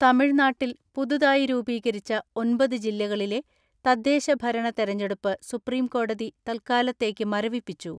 തമിഴ്നാട്ടിൽ പുതുതായി രൂപീകരിച്ച ഒമ്പത് ജില്ലകളിലെ തദ്ദേശ ഭരണ തെരഞ്ഞെടുപ്പ് സുപ്രീംകോടതി തൽക്കാലത്തേക്ക് മരവിപ്പിച്ചു.